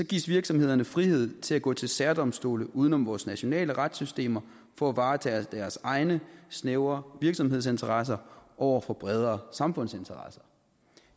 gives virksomhederne frihed til at gå til særdomstole uden om vores nationale retssystemer for at varetage deres egne snævre virksomhedsinteresser over for bredere samfundsinteresser